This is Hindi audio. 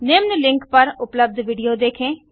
निम्न लिंक पर उपलब्ध विडियो देखें